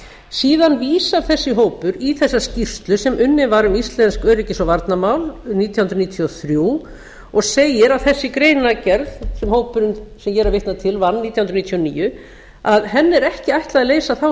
síðan vísar þessi hópur í þessa skýrslu sem unnin var um íslensk öryggis og varnarmál nítján hundruð níutíu og þrjú og segir að þessi greinargerð sem hópurinn sem ég er að vitna til vann nítján hundruð níutíu og níu er ekki ætlað að leysa þá